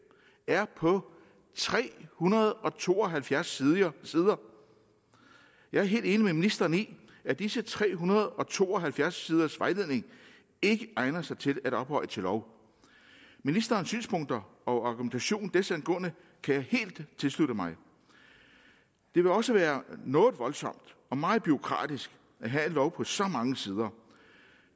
er på tre hundrede og to og halvfjerds sider jeg er helt enig med ministeren i at disse tre hundrede og to og halvfjerds siders vejledning ikke egner sig til at ophøje til lov ministerens synspunkter og argumentation desangående kan jeg helt tilslutte mig det vil også være noget voldsomt og meget bureaukratisk at have en lov på så mange sider